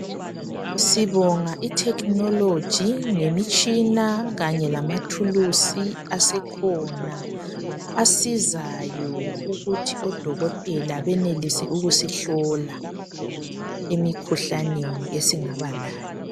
Sibonga i"technology "ngemitshina kanye lamathulusi asekhona asizayo ukuthi odokotela benelise ukusihlola emikhuhlaneni esingaba layo.